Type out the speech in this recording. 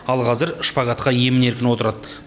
ал қазір шпагатқа емін еркін отырады